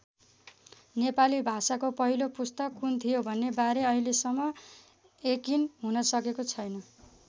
नेपाली भाषाको पहिलो पुस्तक कुन थियो भन्ने बारे अहिलेसम्म यकिन हुन सकेको छैन।